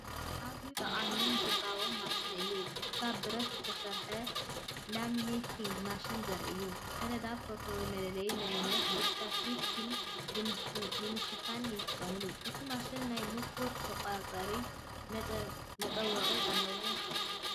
ኣዝዩ ጠቓምን ግብራውን ማሽን እዩ! ካብ ብረት ዝተሰርሐት ላሚነቲንግ ማሽን ዘርኢ እዩ። ሰነዳት፣ ፎቶ ወይ መለለዪ መንነት ብፕላስቲክ ፊልም ንምሽፋን ይጥቀመሉ። እቲ ማሽን ናይ ሙቐት መቆጻጸሪ መጠወቒ ኣለዎ።